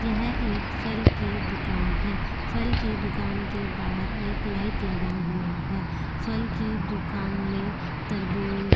यह एक फल की दुकान है फल की दुकान के बाहर एक लाइट लगा हुआ है फल की दुकान में तरबूज --